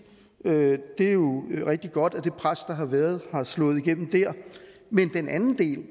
det er jo rigtig godt at det pres der har været har slået igennem der men den anden del